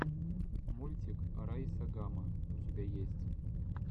мультик райса гама у тебя есть